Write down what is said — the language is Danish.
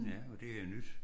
Ja og det har jeg nydt